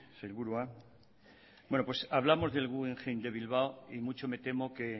sailburua bueno pues hablamos del guggenheim de bilbao y mucho me temo que